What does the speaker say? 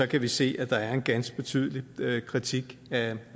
kan vi se at der er en ganske betydelig kritik af